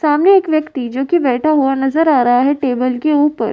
सामने एक व्यक्ति जो कि बैठा हुआ नजर आ रहा है टेबल के ऊपर --